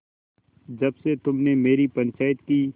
जब से तुमने मेरी पंचायत की